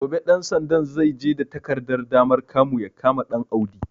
Gobe ɗan sandan zai je da takardar damar kamu ya kama Ɗanaudi.